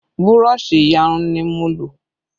Burọ̀ṣì iyarun ni mo lò